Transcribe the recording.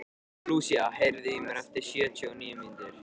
Lúsía, heyrðu í mér eftir sjötíu og níu mínútur.